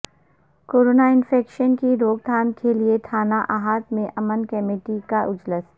corona infection کی روک تھام کیلئے تھانہ احاطہ میں امن کمیٹی کا اجلاس